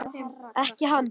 Ekki hann.